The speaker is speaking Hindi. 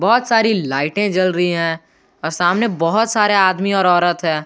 बहुत सारी लाइटे जल रही है और सामने बहुत सारे आदमी और औरत है।